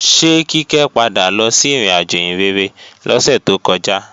Ṣé Kíkẹ́ padà lọ sí ìrìnàjò ìhìnrere lọ́sẹ̀ tó kọjá?